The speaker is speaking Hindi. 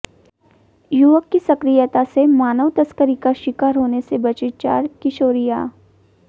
युवक की सक्रियता से मानव तस्करी का शिकार होने से बचीं चार किशोरियां